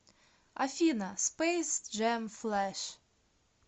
афина спэйс джэм флэш